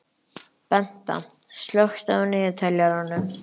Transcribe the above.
Benta, slökktu á niðurteljaranum.